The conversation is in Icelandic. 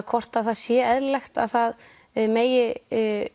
hvort að það sé eðlilegt að það megi